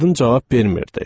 Qadın cavab vermirdi.